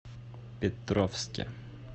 петровске